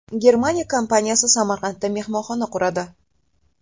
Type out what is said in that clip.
Germaniya kompaniyasi Samarqandda mehmonxona quradi.